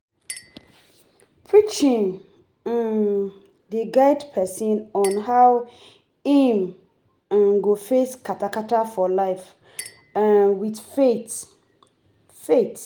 Preaching um dey guide pesin on how im um go face kata-kata for life um with faith. faith.